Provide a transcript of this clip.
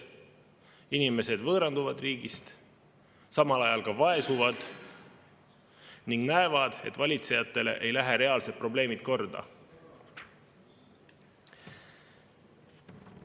Inimesed võõranduvad riigist, samal ajal ka vaesuvad ning näevad, et valitsejatele ei lähe reaalsed probleemid korda.